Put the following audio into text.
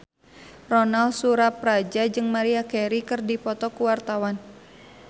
Ronal Surapradja jeung Maria Carey keur dipoto ku wartawan